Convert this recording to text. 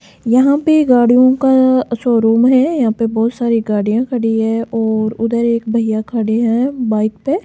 यहां पे गाड़ियों का शोरूम है यहां पे बहुत सारी गाड़ियां खड़ी है और उधर एक भैया खड़े हैं बाइक पे।